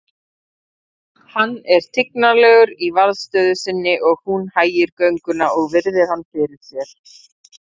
Hann er tignarlegur í varðstöðu sinni og hún hægir gönguna og virðir hann fyrir sér.